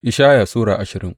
Ishaya Sura ashirin